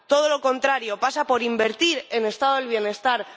Todo lo contrario, pasa por invertir en Estado del bienestar.